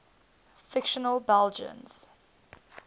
fictional belgians